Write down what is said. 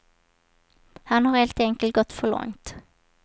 Han har helt enkelt gått för långt.